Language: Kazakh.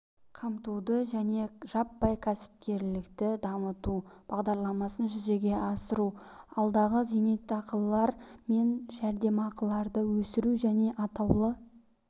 қамтуды және жаппай кәсіпкерлікті дамыту бағдарламасын жүзеге асыру алдағы зейнетақылар мен жәрдемақыларды өсіру және атаулы